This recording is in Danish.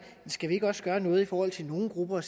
skal vi ikke også gøre noget i forhold til nogle grupper og